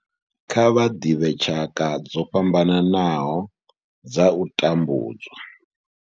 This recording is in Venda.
Kha vha ḓivhe tshaka dzo fhambanaho dza u tambudzwa.